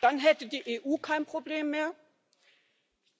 Dann hätte die EU kein Problem mehr,